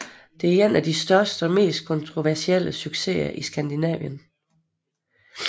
Det er en af de største og mest kontroversielle succeser i Skandinavien